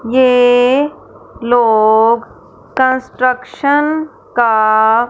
ये लोग कंस्ट्रक्शन का--